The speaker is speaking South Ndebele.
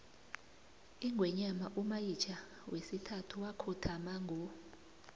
ingwenyama umayitjha wesithathu wakhothama ngo